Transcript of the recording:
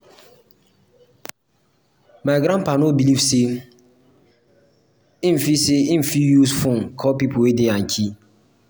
my grandpa no believe sey im fit sey im fit use fone call pipo wey dey yankee.